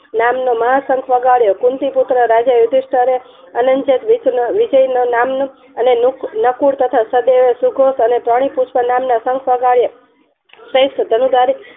નામનો મહા શંખ વગાડ્યો કુંતી પુત્ર રાજા ઉંધીસ્તર એ અનન જન નામનો વિજય નામનો નકુર તથા સદેવે સુધોસ અને ડોની નામનો શંખ વગાડ્યો